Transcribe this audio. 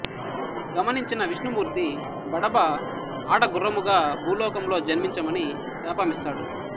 గమనించిన విష్ణుమూర్తి బడబ ఆడగుర్రము గా భూలోకంలో జన్మించమని శాపమిస్తాడు